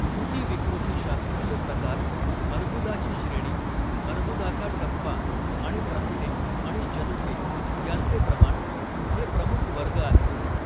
ऊतिविकृतिशास्त्रीय प्रकार, अर्बुदाची श्रेणी, अर्बुदाचा टप्पा, आणि प्रथिने आणि जनुके यांचे प्रमाण हे प्रमुख वर्ग आहेत.